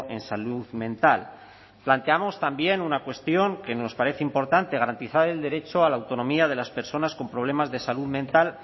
en salud mental planteamos también una cuestión que nos parece importante garantizar el derecho a la autonomía de las personas con problemas de salud mental